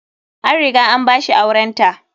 An riga an ba shi aurenta.